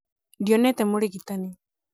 ndionete mũrigitani